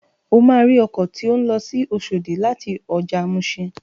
O máa rí ọkọ̀ tó ń lọ sí Oṣòdì láti ọjà muṣin.